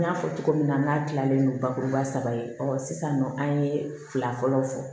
N y'a fɔ cogo min na n k'a tilalen don bakuruba saba ye sisan nɔ an ye fila fɔlɔw fɔ